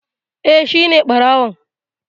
Eh, Shine ɓarawon